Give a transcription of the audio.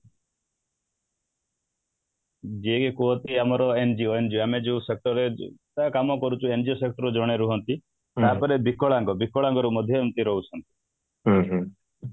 ଯେହେ କୁହନ୍ତି ଆମର angio angeo ଆମେ ଯୋଉ sector ରେ କାମ କରୁଛୁ ବା angio sector ରୁ ଜଣେ ରୁହନ୍ତି ତାପରେ ବିକଳାଙ୍ଗ ବିକଳାଙ୍ଗ ରୁ ମଧ୍ୟ ଏମିତି ରହୁଛନ୍ତି